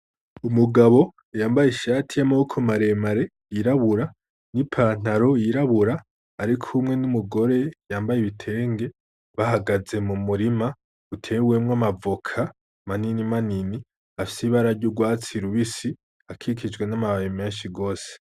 Umugabo yambaye ishati yamaboko maremare y'irabura, n'ipantaro y'irabura , arikumwe n'umugore yambaye ibitenge, bahagaze mumurima utewemwo amavoka ,manini manini afise ibara ry'urwatsi rubisi ,akikijwe n'amababi menshi gose.